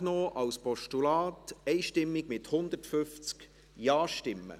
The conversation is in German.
Sie haben die Ziffer 5 als Postulat einstimmig angenommen, mit 150 Ja-Stimmen.